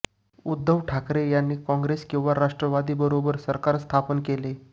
उद्धव ठाकरे यांनी काँग्रेस किंवा राष्ट्रवादीबरोबर सरकार स्थापन केले